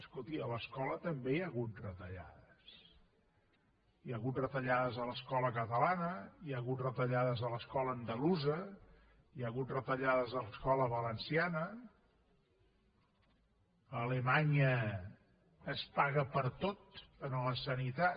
escolti a l’escola també hi ha hagut retallades hi ha hagut retallades a l’escola catalana hi ha hagut retallades a l’escola andalusa hi ha hagut retallades a l’escola valenciana a alemanya es paga per tot en la sanitat